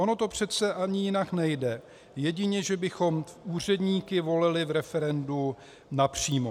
Ono to přece ani jinak nejde, jedině že bychom úředníky volili v referendu napřímo.